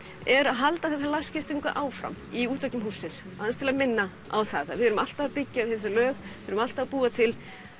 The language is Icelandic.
er að halda þessari lagskiptingu áfram í útveggjum hússins til að minna á það við erum alltaf að byggja við þessi lög við erum alltaf að búa til